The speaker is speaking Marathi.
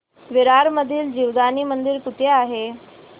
विरार मधील जीवदानी मंदिर कुठे आहे